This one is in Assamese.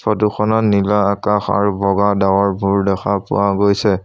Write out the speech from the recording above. ফটো খনত নীলা আকাশ আৰু বগা ডাৱৰবোৰ দেখা পোৱা গৈছে।